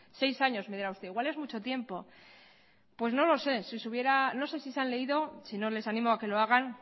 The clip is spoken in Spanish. seis años me dirá usted igual es mucho tiempo pues no lo sé no sé si han leído si no les animo a que lo hagan